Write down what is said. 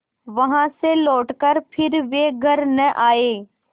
वहाँ से लौटकर फिर वे घर न आये